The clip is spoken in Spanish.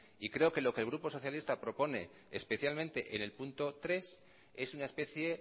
y creo que lo que el grupo socialista propone especialmente en punto tres es una especie